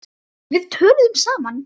Við töluðum saman.